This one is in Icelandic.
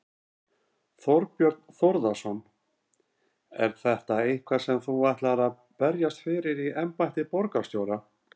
Þorbjörn Þórðarson: Er þetta eitthvað sem þú ætlar að berjast fyrir í embætti borgarstjóra?